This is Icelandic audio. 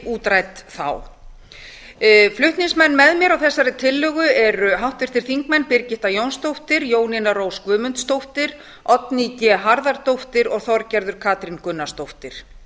útrædd þá flutningsmenn með mér á þessari tillögu eru háttvirtir þingmenn birgitta jónsdóttir jónína rós guðmundsdóttir oddný g harðardóttir og þorgerður katrín gunnarsdóttir